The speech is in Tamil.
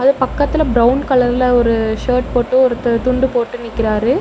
பக்கத்துல பிரவுன் கலர்ல ஒரு ஷர்ட் போட்டு ஒருத்தர் துண்டு போட்டு நிக்கிறாரு.